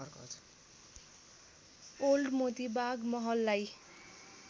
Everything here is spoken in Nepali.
ओल्‍ड मोतीबाग महललाई